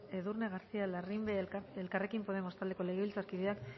edurne garcía larrimbe elkarrekin podemos taldeko legebiltzarkideak